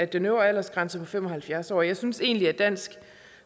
den øvre aldersgrænse på fem og halvfjerds år og jeg synes egentlig at dansk